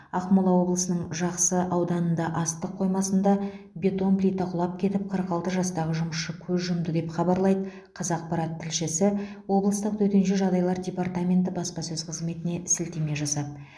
ақмола облысының жақсы ауданында астық қоймасында бетон плита құлап кетіп қырық алты жастағы жұмысшы көз жұмды деп хабарлайды қазақпарат тілшісі облыстық төтенше жағдайлар департаменті баспасөз қызметіне сілтеме жасап